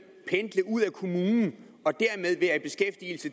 pendle ud af kommunen og